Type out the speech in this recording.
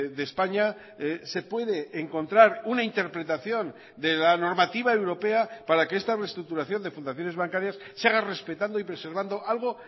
de españa se puede encontrar una interpretación de la normativa europea para que esta reestructuración de fundaciones bancarias se haga respetando y preservando algo